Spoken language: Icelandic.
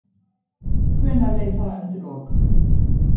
Hvenær leið það undir lok?